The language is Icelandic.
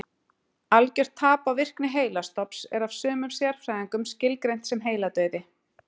Algjört tap á virkni heilastofns er af sumum sérfræðingum skilgreint sem heiladauði.